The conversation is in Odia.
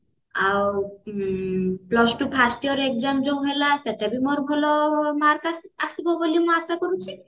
ଆଉ plus two first year exam ରେ ଯୋଉ ଭଲ ଆସେ ସେଟାବି ଭଲ mark ଆସିବ ବୋଲି ମୁଁ ଆଶା କରୁଛି